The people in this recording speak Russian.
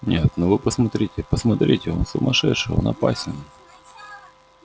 нет ну вы посмотрите посмотрите он сумасшедший он опасен